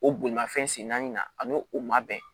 O bolimafɛn sen naani na an ma bɛn